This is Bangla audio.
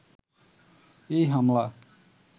এই হামলা